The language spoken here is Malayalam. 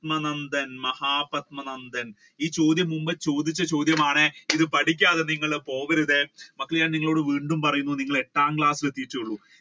നന്ദൻ അല്ലെ മഹാപത്മാനന്ദൻ ഇത് മുൻപേ ചോദിച്ച ചോദ്യമാണ് ഇത് പഠിക്കാതെ നിങ്ങൾ പോവരുതേ. അത് ഞാൻ നിങ്ങളോട് വീണ്ടും പറയുന്നു നിങ്ങൾ exam class